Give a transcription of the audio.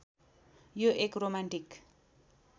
यो एक रोमान्टिक